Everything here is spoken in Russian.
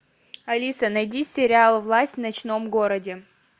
алиса найди сериал власть в ночном городе